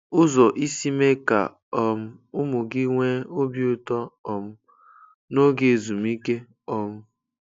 Ụzọ isi mee ka um ụmụ gị nwee obi ụtọ um n'oge ezumike. um